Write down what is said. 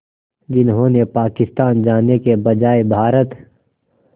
जिन्होंने पाकिस्तान जाने के बजाय भारत